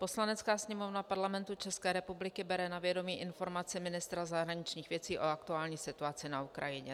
Poslanecká sněmovna Parlamentu České republiky bere na vědomí informaci ministra zahraničních věcí o aktuální situaci na Ukrajině.